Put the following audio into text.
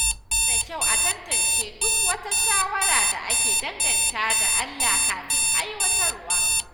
Yana da kyau a tantance duk wata shawara da ake dangantawa da Allah kafin aiwatarwa.